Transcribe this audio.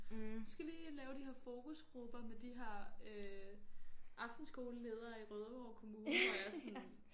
Du skal lige lave de her fokusgrupper med de her øh aftenskoleledere i Rødovre kommune hvor jeg er sådan